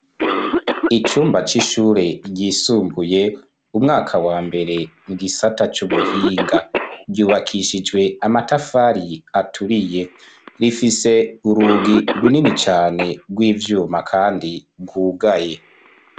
Icumba c'ishure ryisumbuye umwaka wa mbere mu gisata c'ubuhinga. Ryubakishijwe amatafari aturiye. Rifise urugi runini cyane rw'ivyuma kandi bwugaye.